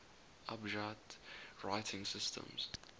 abjad writing systems